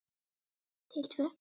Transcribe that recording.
Til tvö.